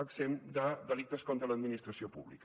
exempt de delictes contra l’administració pública